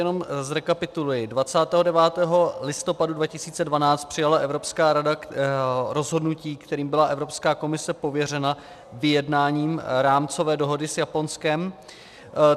Jenom zrekapituluji: 29. listopadu 2012 přijala Evropská rada rozhodnutí, kterým byla Evropská komise pověřena vyjednáním rámcové dohody s Japonskem.